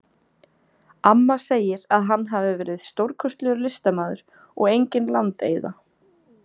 Amma segir að hann hafi verið stórkostlegur listamaður og engin landeyða.